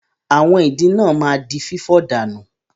Àwọn ìdin náà ma di fífọ̀ dànù.